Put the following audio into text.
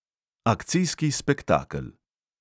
Akcijski spektakel.